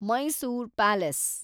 Mysore palace